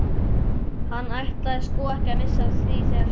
Hann ætlaði sko ekki að missa af því þegar Svenni